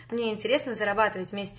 мне интересно зарабатывать вместе